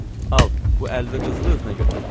Al, bu 50 qızılı özünə götür.